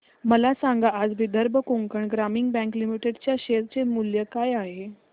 मला सांगा आज विदर्भ कोकण ग्रामीण बँक लिमिटेड च्या शेअर चे मूल्य काय आहे